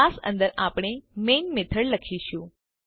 class અંદર આપણે main method લખીશું